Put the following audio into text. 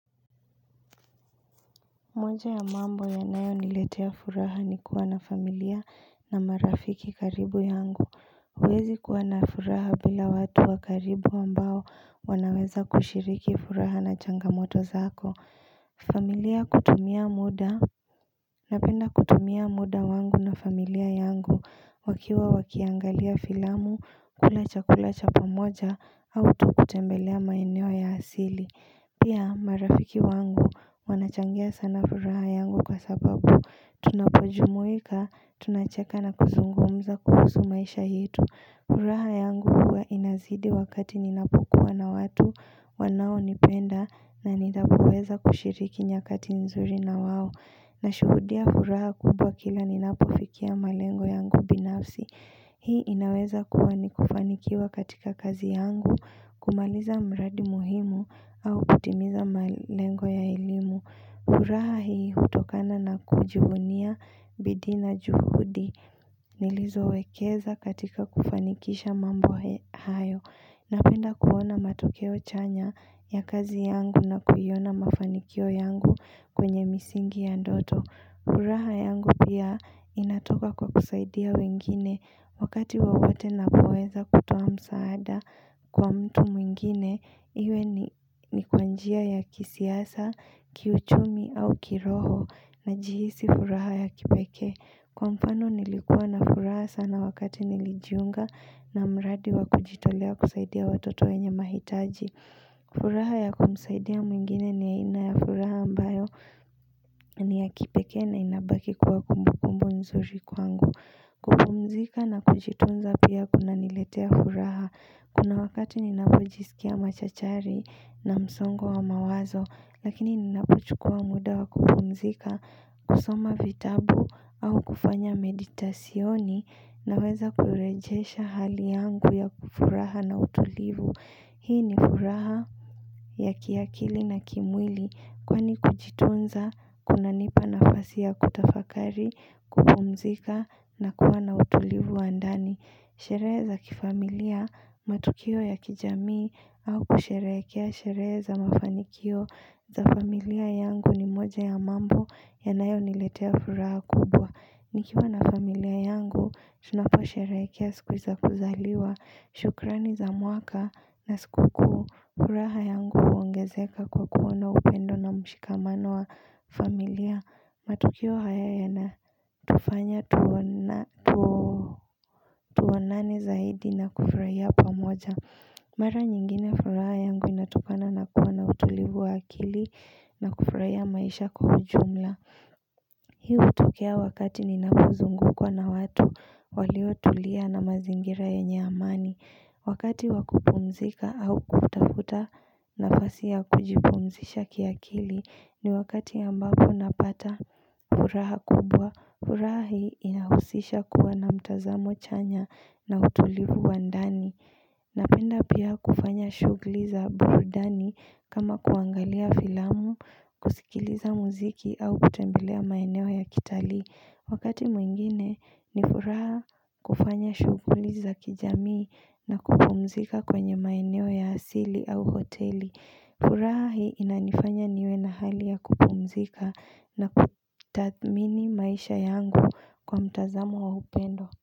Moja ya mambo yanayo niletea furaha ni kuwa na familia na marafiki karibu yangu huwezi kuwa na furaha bila watu wa karibu ambao wanaweza kushiriki furaha na changamoto zako familia kutumia muda. Napenda kutumia muda wangu na familia yangu wakiwa wakiangalia filamu, kula chakula cha pamoja, au tu kutembelea maeneo ya asili Pia marafiki wangu wanachangia sana furaha yangu kwa sababu tunapojumuika, tunacheka na kuzungumza kuhusu maisha yetu. Furaha yangu huwa inazidi wakati ninapokuwa na watu wanao nipenda na nitapoweza kushiriki nyakati nzuri na wao. Na shuhudia furaha kubwa kila ninapofikia malengo yangu binafsi. Hii inaweza kuwa ni kufanikiwa katika kazi yangu, kumaliza mradi muhimu au kutimiza malengo ya elimu. Furaha hii hutokana na kujuvunia bidii na juhudi nilizo wekeza katika kufanikisha mambo ha hayo. Napenda kuona matokeo chanya ya kazi yangu na kuiona mafanikio yangu kwenye misingi ya ndoto. Furaha yangu pia inatoka kwa kusaidia wengine wakati wowote napoweza kutoa msaada kwa mtu mwingine. Iwe ni ni kwa njia ya kisiasa, kiuchumi au kiroho najihisi furaha ya kipekee. Kwa mfano nilikua na furaha sana wakati nilijiunga na mradi wa kujitolea kusaidia watoto wenye mahitaji. Furaha ya kumsaidia mwingine ni ya ina ya furaha ambayo ni ya kipekee na inabaki kwa kumbu kumbu nzuri kwangu. Kumpumzika na kujitunza pia kuna niletea furaha. Kuna wakati ninapojisikia machachari na msongo wa mawazo lakini ninapochukua muda wa kumpumzika, kusoma vitabu au kufanya meditasyoni naweza kurejesha hali yangu ya ku furaha na utulivu. Hii ni furaha ya kiakili na kimwili kwani kujitunza kunanipa nafasi ya kutafakari, kupumzika na kuwa na utulivu wa ndani. Sherehe za kifamilia matokeo ya kijamii au kusheherekea sherehe za mafanikio za familia yangu ni moja ya mambo yanayo niletea furaha kubwa. Nikiwa na familia yangu, tunapo sheherekea siku za kuzaliwa, shukrani za mwaka na sikukuu furaha yangu huongezeka kwa kuona upendo na mshikamano wa familia, matukio haya yana tufanya tuona tuonane zaidi na kufurahia pamoja Mara nyingine furaha yangu inatokana na kuwa na utulivu wa akili na kufurahia maisha kwa ujumla Hiu hutokea wakati ninapozungukwa na watu waliotulia na mazingira yenye amani Wakati wakupumzika au kutafuta nafasi ya kujipumzisha kiakili ni wakati ambapo napata furaha kubwa. Furaha hii inahusisha kuwa na mtazamo chanya na utulivu wa ndani Napenda pia kufanya shughuli za burudani kama kuangalia filamu, kusikiliza muziki au kutembelea maeneo ya kitalii Wakati mwingine ni furaha kufanya shughuli za kijamii na kupumzika kwenye maeneo ya asili au hoteli furaha hii inanifanya niwe na hali ya kupumzika na kutathamini maisha yangu kwa mtazamo wa upendo.